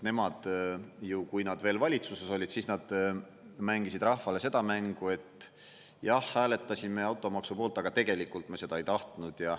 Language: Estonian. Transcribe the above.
Nemad ju, kui nad veel valitsuses olid, siis nad mängisid rahvale seda mängu, et jah, hääletasime automaksu poolt, aga tegelikult me seda ei tahtnud.